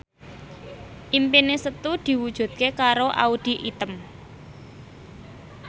impine Setu diwujudke karo Audy Item